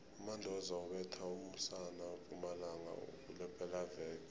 umandoza ubethe umusana wempumalanga kulephelaveke